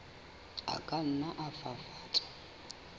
a ka nna a fafatswa